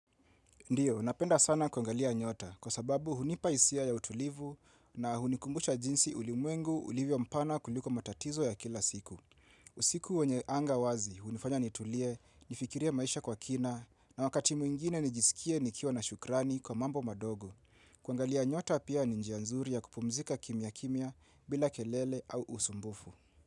Ndiyo, napenda sana kuangalia nyota kwa sababu hunipaisia ya utulivu na hunikumbusha jinsi ulimwengu ulivyo mpana kuliko matatizo ya kila siku. Usiku wenye anga wazi, hunifanya nitulie, nifikirie maisha kwa kina na wakati mwingine nijisikie nikiwa na shukrani kwa mambo madogo. Kuangalia nyota pia ni njia nzuri ya kupumzika kimya kimya bila kelele au usumbufu.